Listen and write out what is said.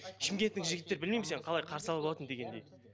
шымкенттің жігіттері білмеймін сені қалай қарсы алып алатын дегендей